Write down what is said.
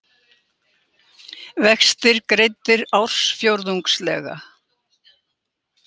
Vextir greiddir ársfjórðungslega